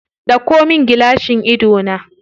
Ɗauko min gilashin idona.